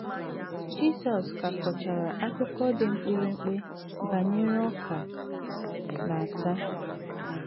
Jisọs ka kọchara akụkọ dị mkpirikpi banyere ọka na ata.